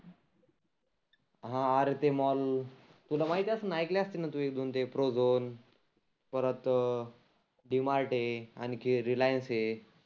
हा आरे ते मॉल तुला माहिती असनना ऐकले असनना एक दोन ते प्रोझोन परत डी मार्ट आहे आनखी रिलिअन्स आहे.